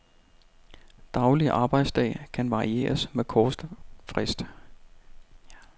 Daglig arbejdsdag kan varieres med kort frist.